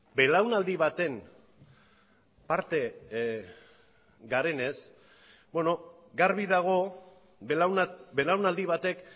belaunaldi baten parte garenez garbi dago belaunaldi batek